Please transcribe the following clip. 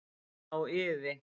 Á iði.